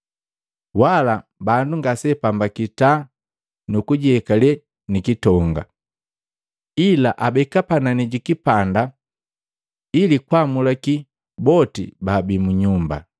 Wala bandu ngaseapambaki taa nu kujiyekale ni kitonga, ila abeka panani ji kipanda ili gwamulakya boti baabii mu nyumba.